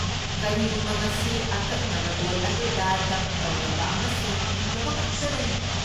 ꯀꯔꯤꯒꯨꯝꯕ ꯃꯁꯤ ꯑꯀꯛꯅꯕ ꯂꯣꯜ ꯑꯗꯨꯗ ꯗꯕ ꯇꯧꯔꯕ ꯑꯃꯁꯨꯡ ꯐꯪꯂꯕꯈꯛꯇꯗꯅꯤ꯫